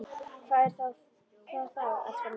Hvað er það þá, elskan mín?